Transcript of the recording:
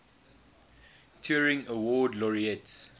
turing award laureates